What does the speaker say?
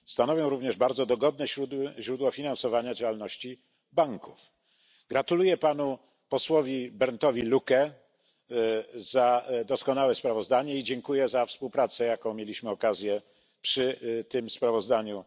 Stanowią również bardzo dogodne źródło finansowania działalności banków. Gratuluję panu posłowi Berndowi Luckemu doskonałego sprawozdania i dziękuję za współpracę, jaką mieliśmy okazję realizować przy tym sprawozdaniu.